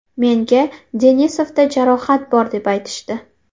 Menga Denisovda jarohat bor deb aytishdi.